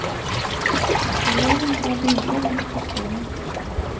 Elevene går lydig rundt på skolen.